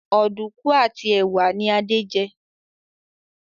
Oduku àti ẹwà ní Ade jé.